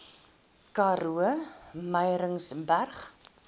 karoo murrayburg